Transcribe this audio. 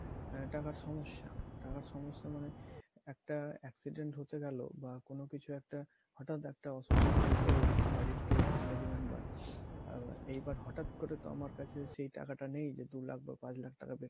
আহ টাকার সমস্যা টাকার সমস্যা মানে একটা accident ঘটে গেলো বা কোনো কিছু একটা হঠাৎ একটা অসুস্থ হয়ে পড়লাম বাড়ির কেউ family member এইবার হঠাৎ করে তো আমার কাছে সেই টাকাটা নেই যে দু লাখ বা পাঁচ লাখ টাকা বের